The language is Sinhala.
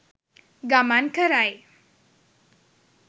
ගමන් කරයි.